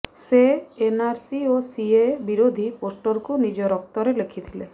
ସେ ଏନ୍ଆରସି ଓ ସିଏଏ ବିରୋଧୀ ପୋଷ୍ଟରକୁ ନିଜ ରକ୍ତରେ ଲେଖିଥିଲେ